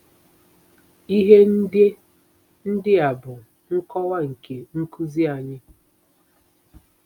Ihe ndị ndị a bụ nkọwa nke nkuzi anyị